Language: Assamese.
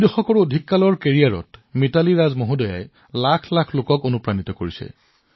দুই দশকতকৈও অধিক সময়ৰ কেৰিয়াৰত মিথালী ৰাজ জীয়ে হাজাৰ কোটি লোকক অনুপ্ৰাণিত কৰিছে